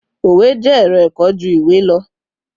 òwe jé ẹrọ ẹkọ ju iwe lọ